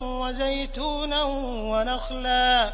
وَزَيْتُونًا وَنَخْلًا